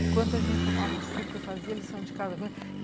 Enquanto a gente tomava um suco, eu fazia a lição de casa com eles